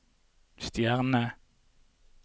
stjerne